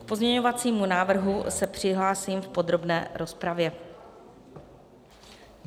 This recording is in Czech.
K pozměňovacímu návrhu se přihlásím v podrobné rozpravě.